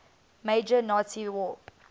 major nazi war